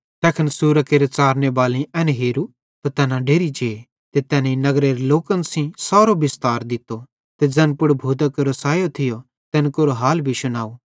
तैखन सुअरां केरे च़ारनेबालेईं एन हेरू त तैना डेरि जे ते तैनेईं नगरेरे लोकन सेइं सारो बिस्तार दित्तो ते ज़ैन पुड़ भूतां केरो सैयो थियो तैन केरो हाल भी शुनाव